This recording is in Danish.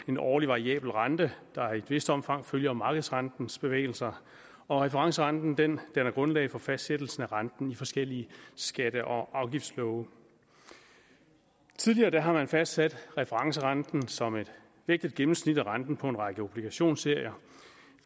en årlig variabel rente der i et vist omfang følger markedsrentens bevægelser og referencerenten danner grundlag for fastsættelsen af renten i forskellige skatte og afgiftslove tidligere har man fastsat referencerenten som et vægtet gennemsnit af renten på en række obligationsserier